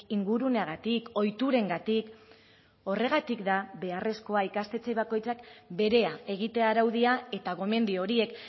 inguruneagatik ohiturengatik horregatik da beharrezkoa ikastetxe bakoitzak berea egitea araudia eta gomendio horiek